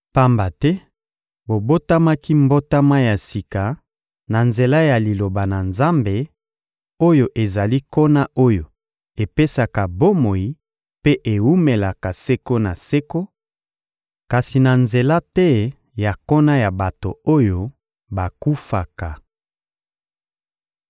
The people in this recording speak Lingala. Pamba te bobotamaki mbotama ya sika na nzela ya Liloba na Nzambe, oyo ezali nkona oyo epesaka bomoi mpe ewumelaka seko na seko; kasi na nzela te ya nkona ya bato oyo bakufaka.